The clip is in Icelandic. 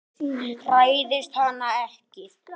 Hræðist hana ekki.